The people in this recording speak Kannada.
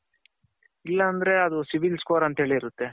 ಇಲ್ಲ ಅಂದ್ರೆ ಅದು civil score ಅಂತ ಹೇಳಿ ಇರುತ್ತೆ.